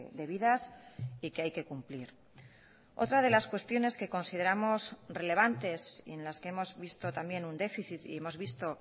debidas y que hay que cumplir otra de las cuestiones que consideramos relevantes y en las que hemos visto también un déficit y hemos visto